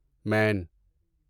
مین